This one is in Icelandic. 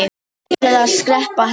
Ég ætla að skreppa heim.